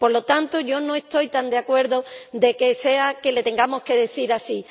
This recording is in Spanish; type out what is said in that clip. Por lo tanto, yo no estoy tan de acuerdo en que les tengamos que decir eso.